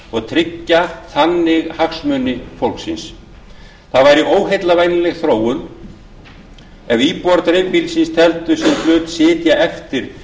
og tryggja þannig hagsmuni fólksins það væri óheillavænleg þróun ef íbúar dreifbýlisins teldu sinn hlut sitja eftir